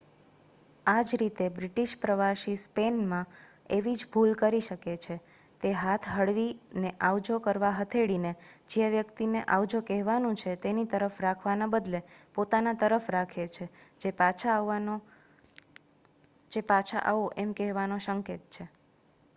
આજ રીતે બ્રિટિશ પ્રવાસી સ્પેન માં એવી જ ભૂલ કરી શકે છે તે હાથ હળવી ને આવજો કરવા હથેળી ને જે વ્યક્તિ ને આવજો કહેવાનું છે તેની તરફ રાખવાના બદલે પોતાના તરફ રાખે છે જે પાછા આવો એમ કહેવાનો સંકેત છે